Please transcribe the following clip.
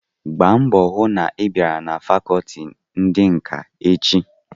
Gbaa mbọ hụ na ị biara na fakọọti ndi nka echi!